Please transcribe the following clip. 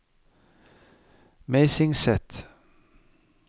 Meisingset